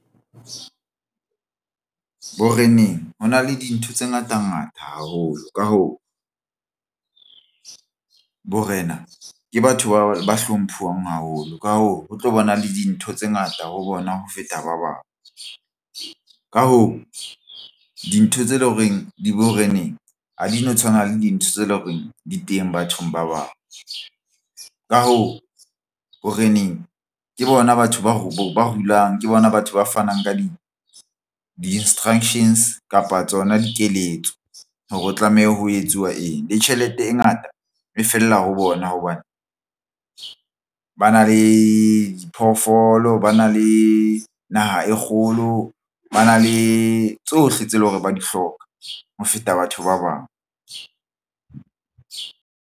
Boreneng ho na le dintho tse ngata ngata haholo. Ka hoo, borena ke batho ba hlomphiwang haholo ka hoo ho tlo bona le dintho tse ngata ho bona ho feta ba bang. Ka hoo, dintho tse leng horeng di boreneng ha di no tshwana le dintho tse leng horeng di teng bathong ba bang. Ka hoo, boreneng ke bona batho ba rulang ke bona batho ba fanang ka di-instructions kapa tsona dikeletso. Hore o tlameha ho etsuwa eng le tjhelete e ngata e fella ho bona hobane ba na le diphoofolo. Ba na le naha e kgolo ba na le tsohle tse leng hore ba di hloka ho feta batho ba bang.